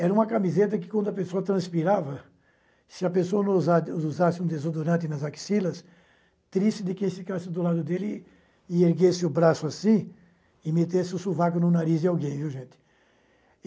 Era uma camiseta que, quando a pessoa transpirava, se a pessoa não usa usasse um desodorante nas axilas, triste de quem ficasse do lado dele e erguesse o braço assim e metesse o sovaco no nariz de alguém, viu, gente?